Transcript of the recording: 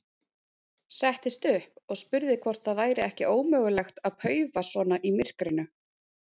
Settist upp og spurði hvort það væri ekki ómögulegt að paufa svona í myrkrinu.